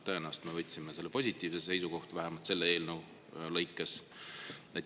Tõenäoliselt me võtsime positiivse seisukoha, vähemalt selle eelnõu suhtes.